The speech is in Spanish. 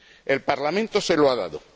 El Parlamento se lo ha dado.